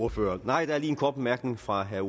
ordfører nej der er lige en kort bemærkning fra herre